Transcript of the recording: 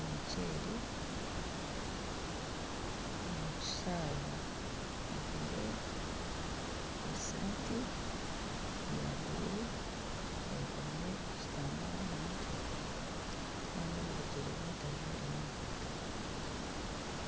omuceeri omu kisharaara ajwaire esaati ya bururu ayekomire ekitambara aha mutwe kandi omu bigyere bye tajwairemu nkaito.